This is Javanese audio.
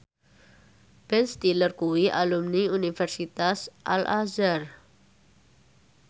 Ben Stiller kuwi alumni Universitas Al Azhar